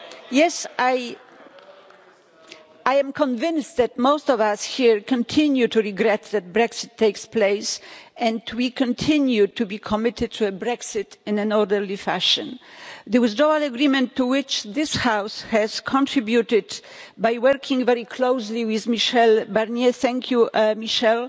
Yes, I am convinced that most of us here continue to regret that Brexit takes place and we continue to be committed to Brexit in an orderly fashion. The withdrawal agreement to which this House has contributed by working very closely with Michel Barnier thank you, Michel